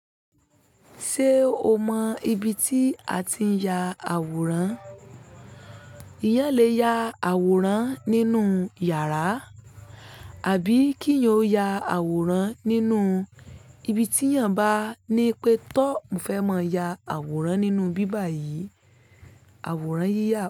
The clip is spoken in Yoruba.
Ṣé o mọ ibi tí a ti ń ya àwòrán? Eeyán lè ya àwòrán nínú iyàrá, àbí kí eeyan o ya àwòrán nínú ibi tí eeyàn bá ní pé, toọ́, mo fẹ́ máa ya àwòrán nínú ibí bàyí. Àwòrán yíyà.